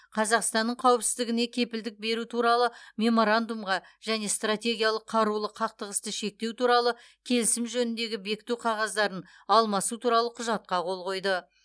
қазақстанның қауіпсіздігіне кепілдік беру туралы меморандумға және стратегиялық қарулы қақтығысты шектеу туралы келісім жөніндегі бекіту қағаздарын алмасу туралы құжатқа қол қойды